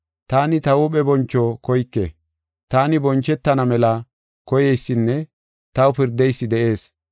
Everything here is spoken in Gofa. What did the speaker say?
Taani ta huuphe boncho koyke; taani bonchetana mela koyeysinne taw pirdeysi de7ees.